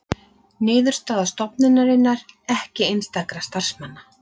Niðurstaða stofnunarinnar ekki einstakra starfsmanna